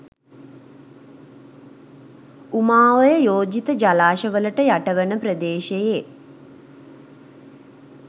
උමා ඔය යෝජිත ජලාශවලට යටවන ප්‍රදේශයේ